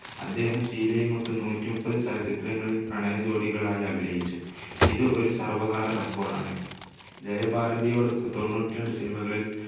അദ്ദേഹം ഷീലയുമൊത്ത് നൂറ്റിമുപ്പത് ചലച്ചിത്രങ്ങളിൽ പ്രണയ ജോഡികളായി അഭിനയിച്ചു. ഇത് ഒരു സർവ്വകാല record ണ്. ജയഭാരതിയോടൊത്ത് തൊണ്ണൂറ്റിരണ്ട്‌ cinema കളിൽ